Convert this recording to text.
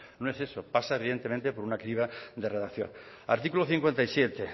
no es eso pasa evidentemente por una criba de redacción artículo cincuenta y siete